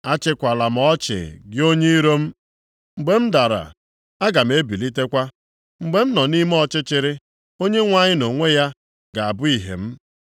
Achịkwala m ọchị gị onye iro m. Mgbe m dara, aga m ebilitekwa. Mgbe m nọ nʼime ọchịchịrị, Onyenwe anyị nʼonwe ya ga-abụ ihe m.